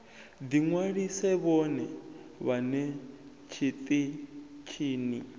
ḓi ṅwalise vhone vhaṋe tshiṱitshini